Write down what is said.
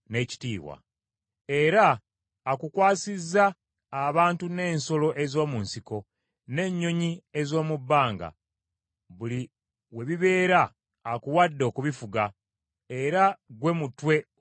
era akukwasizza abantu n’ensolo ez’omu nsiko, n’ennyonyi ez’omu bbanga. Buli we bibeera, akuwadde okubifuga, era ggwe mutwe ogwa zaabu.